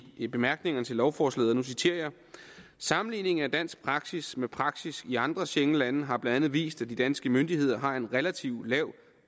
i bemærkningerne til lovforslaget og nu citerer jeg sammenligning af dansk praksis med praksis i andre schengenlande har blandt andet vist at de danske myndigheder har en relativt lav